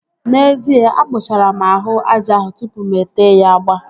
N'ezie, akpụchara m ahụ aja ahụ tụpụ mụ ete ya agba